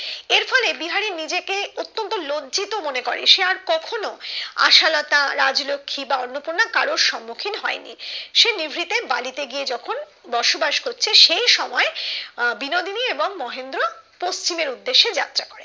লজ্জিত মনে করে সে আর কখনো আশালতা রাজলক্ষী বা অন্নপূর্ণা কারোর সম্মুখীন হয়নি সে নিভৃতে বালিতে গিয়ে যখন বসবাস করছে সেই সময় বিনোদিনী এবং মহেন্দ্র পশ্চিম এর উদ্দেশ্যে যাত্রা করে